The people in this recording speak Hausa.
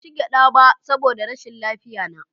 Ban ci gyada ba saboda rashin lafiyarna